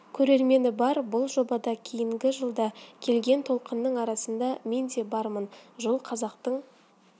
көрермені бар бұл жобада кейінгі жылда келген толқынның арасында мен де бармын жыл қазақтың